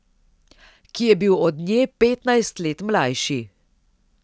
Ki je bil od nje petnajst let mlajši.